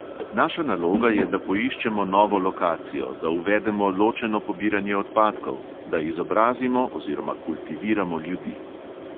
Naša naloga je, da poiščemo novo lokacijo, da uvedemo ločeno pobiranje odpadkov, da izobrazimo oziroma kultiviramo ljudi.